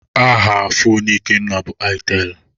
Aha foonu Ikenna bụ aitelụ.